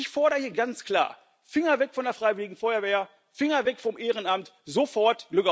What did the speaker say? Ich fordere hier ganz klar Finger weg von der freiwilligen Feuerwehr, Finger weg vom Ehrenamt, sofort!